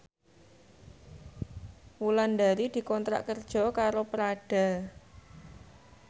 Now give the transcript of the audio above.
Wulandari dikontrak kerja karo Prada